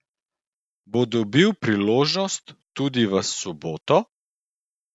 Bo dobil priložnost tudi v soboto?